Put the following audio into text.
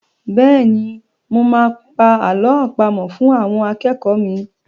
Bẹ́́ẹ̀ ni, mo máa pa àlọ́ àpamọ̀ fún àwọn akẹ́kọ̀ọ́ mi.